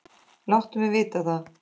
Láttu mig vita það.